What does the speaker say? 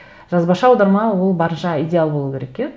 жазбаша аударма ол барынша идеал болу керек иә